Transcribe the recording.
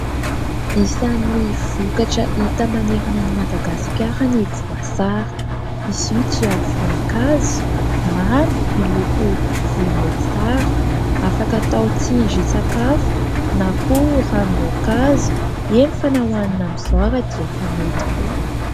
Isan'ny vokatra hita manerana ny Madagasikara ny voasary. Izy io dia voankazo mamy miloko volomboasary afaka atao tsindrin-tsakafo na koa ranom-boankazo eny fa na hohanina amin'izao ary dia efa mety koa.